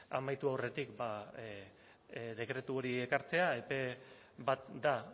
amaitu aurretik dekretu hori ekartzea epe bat da